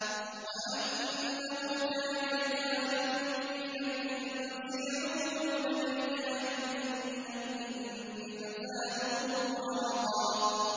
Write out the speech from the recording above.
وَأَنَّهُ كَانَ رِجَالٌ مِّنَ الْإِنسِ يَعُوذُونَ بِرِجَالٍ مِّنَ الْجِنِّ فَزَادُوهُمْ رَهَقًا